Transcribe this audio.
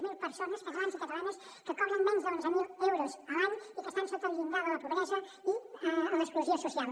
zero persones catalans i catalanes que cobren menys d’onze mil euros a l’any i que estan sota el llindar de la pobresa i l’exclusió social